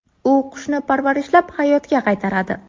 U qushni parvarishlab, hayotga qaytaradi.